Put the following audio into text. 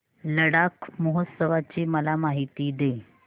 लडाख महोत्सवाची मला माहिती दे